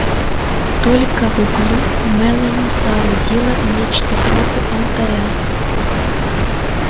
только в углу мелани соорудила нечто вроде алтаря